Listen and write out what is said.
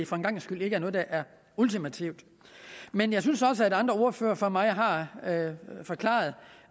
for en gangs skyld ikke noget der er ultimativt men jeg synes også at andre ordførere før mig har forklaret